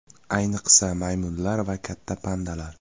Ayniqsa maymunlar va katta pandalar.